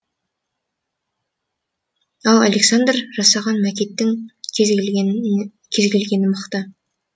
ал александр жасаған макеттің кез келгені мықты